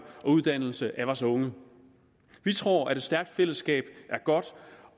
og uddannelse af vores unge vi tror at et stærkt fællesskab er godt